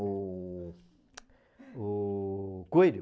O o coelho.